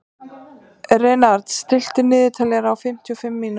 Reynarð, stilltu niðurteljara á fimmtíu og fimm mínútur.